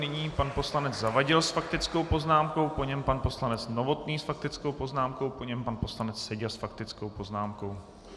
Nyní pan poslanec Zavadil s faktickou poznámkou, po něm pan poslanec Novotný s faktickou poznámkou, po něm pan poslanec Seďa s faktickou poznámkou.